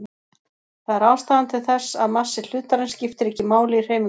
Það er ástæðan til þess að massi hlutarins skiptir ekki máli í hreyfingunni.